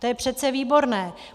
To je přeci výborné.